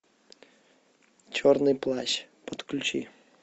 черный плащ подключи